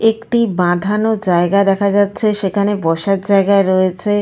একটি বাঁধানো জায়গা দেখা যাচ্ছে সেখানে বসার জায়গা রয়েছে।